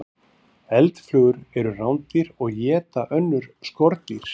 Eldflugur eru rándýr og éta önnur skordýr.